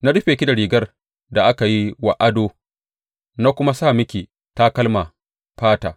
Na rufe ki da rigar da aka yi wa ado na kuma sa miki takalman fata.